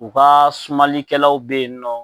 U ka sumalikɛlaw bɛ yen nɔ.